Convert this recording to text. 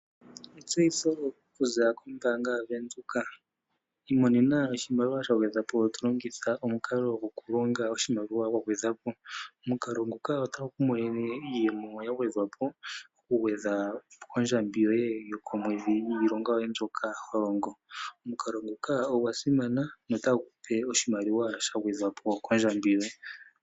Etseyitho okuza kombaanga yaVenduka, imonena oshimaliwa sha gwedhwa po tolongitha omukalo goku longa oshimaliwa gwa gwedhwa po, omukalo nguka otagu kumonene iiyemo ya gwedhwa po oku gwedha ondjambi yoye yokomwedhi niilonga yoye mbyoka holongo, omukalo nguka ogwa simana notagu kupe oshimaliwa sha gwedhwa po kondjambi yoye.